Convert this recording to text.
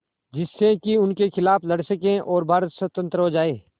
जिससे कि उनके खिलाफ़ लड़ सकें और भारत स्वतंत्र हो जाये